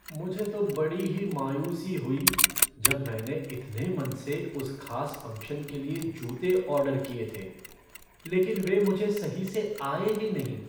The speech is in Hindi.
मुझे तो बड़ी ही मायूसी हुई जब मैंने इतने मन से उस खास फ़ंक्शन के लिए जूते ऑर्डर किए थे, लेकिन वे मुझे सही से आए ही नहीं।